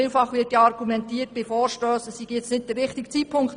Vielfach wird bei Vorstössen argumentiert, es sei nicht der richtige Zeitpunkt.